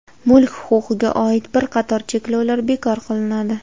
Mulk huquqiga oid bir qator cheklovlar bekor qilinadi.